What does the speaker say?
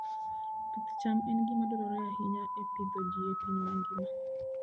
Pith cham en gima dwarore ahinya e pidho ji e piny mangima.